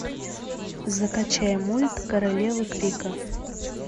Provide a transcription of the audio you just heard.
закачай мульт королева крика